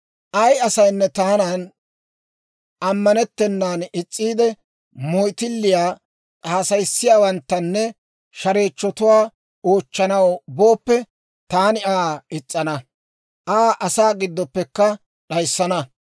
« ‹Ay asaynne taanan ammanettennan is's'iide, moyttilliyaa haasayissiyaawanttanne shareechchotuwaa oochchanaw booppe, taani Aa is's'ana; Aa asaa giddoppekka d'ayissana.